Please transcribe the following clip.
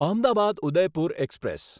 Ahmedabad Udaipur express